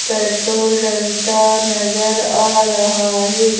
Petrol डलता नजर आ रहा है।